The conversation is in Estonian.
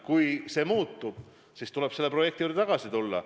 Kui see muutub, siis tuleb selle projekti juurde tagasi tulla.